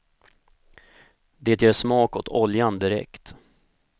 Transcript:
Det ger smak åt oljan direkt.